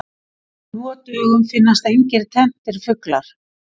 Nú á dögum finnast engir tenntir fuglar.